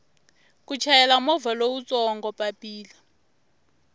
ku chayela movha lowutsongo papila